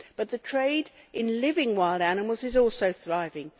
But the trade in living wild animals is also thriving.